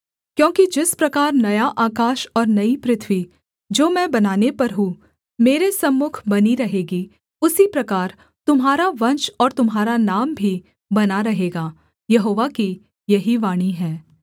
क्योंकि जिस प्रकार नया आकाश और नई पृथ्वी जो मैं बनाने पर हूँ मेरे सम्मुख बनी रहेगी उसी प्रकार तुम्हारा वंश और तुम्हारा नाम भी बना रहेगा यहोवा की यही वाणी है